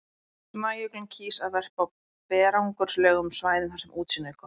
Snæuglan kýs að verpa á berangurslegum svæðum þar sem útsýni er gott.